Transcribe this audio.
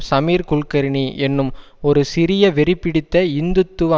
சமீர் குல்கர்னி என்னும் ஒரு சிறிய வெறிபிடித்த இந்து துவ